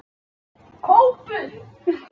Kópur